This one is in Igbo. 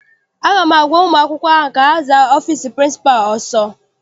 Aga m agwa ụmụ akwụkwọ ahụ ka ha zaa ọfịịsi pịrịnsịpalụ ọsọ!